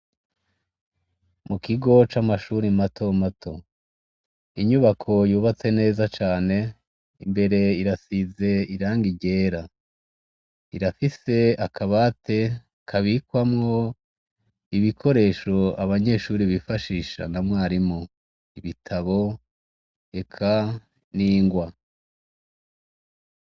Mu kigo c'amashure mato mato, inyubako yubatse neza cane imbere irasize irangi ryera, irafise akabati kabikwamwo ibikoresho abanyeshure bifashisha na mwarimu, ibitabo eka n'ingwa.